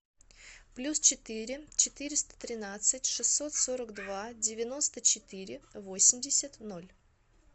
плюс четыре четыреста тринадцать шестьсот сорок два девяносто четыре восемьдесят ноль